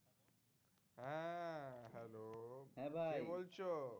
হ্যাঁ ভাই। কে বলছো?